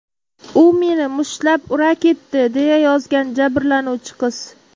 U meni mushtlab ura ketdi”, deya yozgan jabrlanuvchi qiz.